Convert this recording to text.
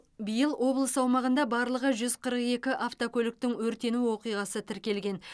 биыл облыс аумағында барлығы жүз қырық екі автокөліктің өртену оқиғасы тіркелген